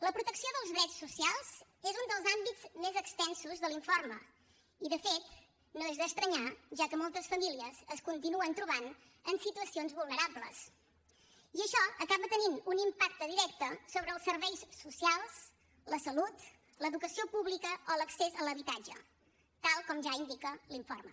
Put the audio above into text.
la protecció dels drets socials és un dels àmbits més extensos de l’informe i de fet no és d’estranyar ja que moltes famílies es continuen trobant en situacions vulnerables i això acaba tenint un impacte directe sobre els serveis socials la salut l’educació pública o l’accés a l’habitatge tal com ja indica l’informe